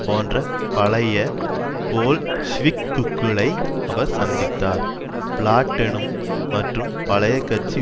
போன்ற பழைய போல்ஷிவிக்குகளை அவர் சந்தித்தார் பிளாட்டெனும் மற்ற பழைய கட்சி